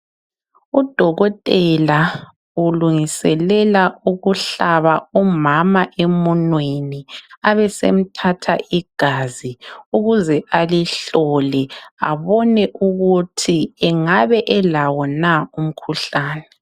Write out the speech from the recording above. Udokotela ulungiselela ukuhlaba umama emunweni .Abesemthatha igazi ukuze alihlole abone ukuthi engabe elawo na umkhuhlane.